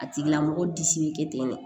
A tigila mɔgɔ disi be kɛ ten de